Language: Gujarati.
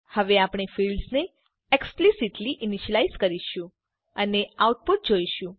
હવે આપણે ફિલ્ડ્સ ને એક્સ્પ્લીસીટલી ઈનીશ્યલાઈઝ કરીશું અને આઉટપુટ જોઈશું